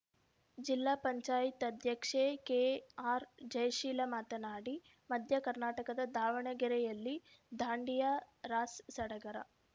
ಜಿಲ್ಲಾ ಪಂಚಾಯತಿ ಅಧ್ಯಕ್ಷೆ ಕೆಆರ್‌ಜಯಶೀಲ ಮಾತನಾಡಿ ಮಧ್ಯ ಕರ್ನಾಟಕದ ದಾವಣಗೆರೆಯಲ್ಲಿ ದಾಂಡಿಯಾ ರಾಸ್‌ ಸಡಗರ